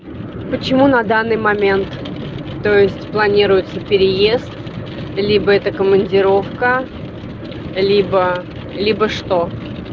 почему на данный момент то есть планируется переезд либо это командировка либо либо что